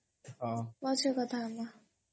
ପଛେ କଥା ହବା